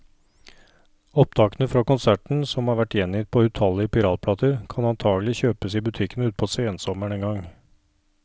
Opptakene fra konserten, som har vært gjengitt på utallige piratplater, kan antagelig kjøpes i butikkene utpå sensommeren en gang.